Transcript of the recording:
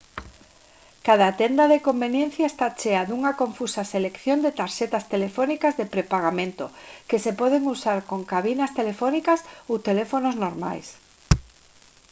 cada tenda de conveniencia está chea dunha confusa selección de tarxetas telefónicas de prepagamento que se poden usar con cabinas telefónicas ou teléfonos normais